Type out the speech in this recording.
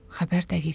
Xəbər dəqiqləşib.